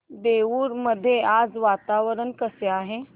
देऊर मध्ये आज वातावरण कसे आहे